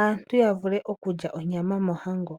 aantu yavule okulya onyama mohango.